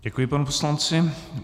Děkuji panu poslanci.